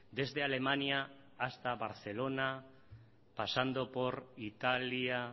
desde alemania hasta barcelona pasando por italia